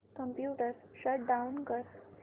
computer shut down कर